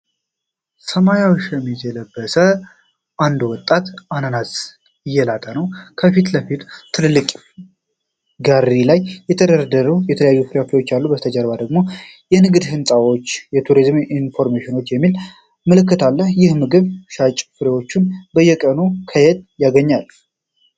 ሰማያዊ ሸሚዝ የለበሰ አንድ ወጣት አናናስ እየላጠ ነው፣ ከፊት ለፊቱ በትልቅ ጋሪ ላይ የተደረደሩ የተለያዩ ፍራፍሬዎች አሉ። ከበስተጀርባ የንግድ ህንፃዎች እና "ቱሪስት ኢንፎርሜሽን" የሚል ምልክት አለ። ይህ የምግብ ሻጭ ፍሬዎቹን በየቀኑ ከየት ያገኛል?